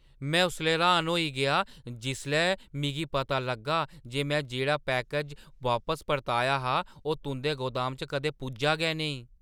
में उसलै र्‌हान होई गेआ जिसलै मिगी पता लग्गा जे में जेह्ड़ा पैकेज वापस परताया हा ओह् तुंʼदे गोदाम च कदें पुज्जा गै नेईं!